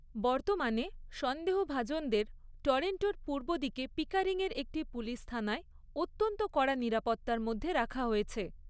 বর্তমানে, সন্দেহভাজনদের টরন্টোর পূর্বদিকে পিকারিং এর একটি পুলিশ থানায় অত্যন্ত কড়া নিরাপত্তার মধ্যে রাখা হয়েছে।